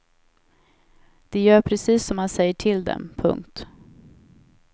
De gör precis som man säger till dem. punkt